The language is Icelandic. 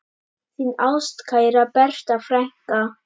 Þín ástkæra Berta frænka.